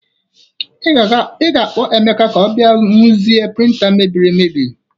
Ị ga-akpọ Emeka ka ọ bịa ruezie prịnta a mebiri emebi.